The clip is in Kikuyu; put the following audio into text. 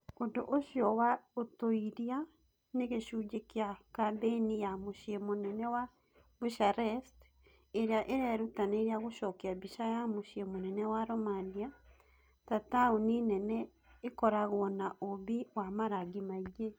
Ũndũ ũcio wa ũtuĩria nĩ gĩcunjĩ kĩa kambĩini ya mũciĩ mũnene wa Bucharest ĩrĩa ĩrerutanĩria gũcokia mbica ya mũciĩ mũnene wa Romania ta ta taũni nene ĩkoragwo na ũũmbi na marangi maingĩ.